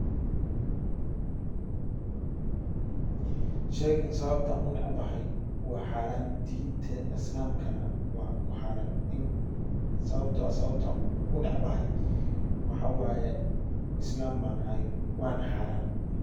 Sheeygan sababtan u nacbaxay waa xaaraan diinteena islaamkana waa ku xaran in sababtoo ah sababtan u necbaxay waxaa waaye islaam baan nahay waan xaaraan.